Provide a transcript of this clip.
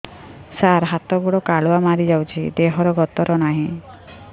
ସାର ହାତ ଗୋଡ଼ କାଲୁଆ ମାରି ଯାଉଛି ଦେହର ଗତର ନାହିଁ